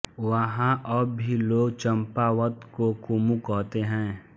वहाँ अब भी लोग चंपावत को कुमू कहते है